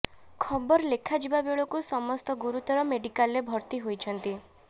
ଖବର ଲେଖା ଯିବା ବେଳକୁ ସମସ୍ତ ଗୁରୁତର ମେଡିକାଲରେ ଭର୍ତ୍ତି ହୋଇଛନ୍ତି